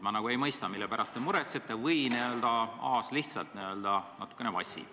Ma ei mõista, mille pärast te muretsete, või siis Aas lihtsalt n-ö natukene vassib.